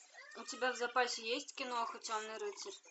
у тебя в запасе есть киноха темный рыцарь